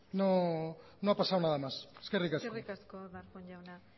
no ha pasado nada más eskerrik asko eskerrik asko darpón jauna